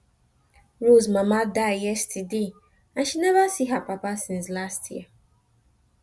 rose mama die yesterday and she never see her papa since last year